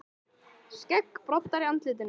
Skeggbroddar í andlitinu.